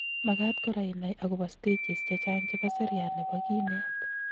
Makat kora inai akopo stages chechang chebo seriat nebo kinet